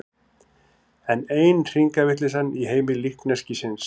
Enn ein hringavitleysan í heimi líkneskisins.